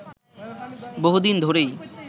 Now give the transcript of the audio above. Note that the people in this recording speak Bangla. বহুদিন ধরেই